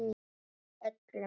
Ykkur öllum!